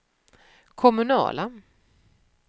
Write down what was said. kommunala